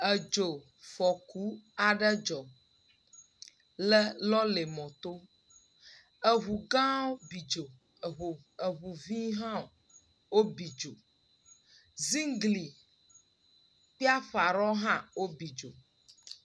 Edzofɔku aɖe dzɔ le lɔrimɔto. Eŋugãwo bi dzo, eŋuvi hã wobi dzo. Zigli kpli aƒe aɖewo hã wobi dzo.